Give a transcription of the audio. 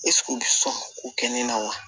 ko kɛ ni na wa